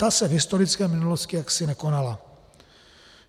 Ta se v historické minulosti jaksi nekonala.